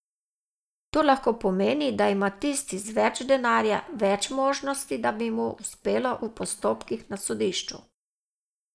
To lahko pomeni, da ima tisti z več denarja več možnosti, da mu bo uspelo v postopkih na sodišču.